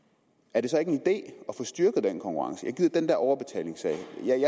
er det så ikke en idé at få styrket den konkurrence jeg gider ikke den der overbetalingssag